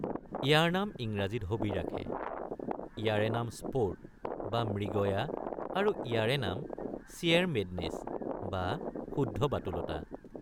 ইয়াৰ নাম ইংৰাজীত hobby hobby ৰাখে; ইয়াৰে নাম Sport বা মৃগয়া আৰু ইয়াৰে নাম Sheer madness বা শুদ্ধ বাতুলতা।